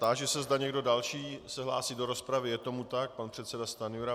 Táži se, zda někdo další se hlásí do rozpravy, Je tomu tak, pan předseda Stanjura.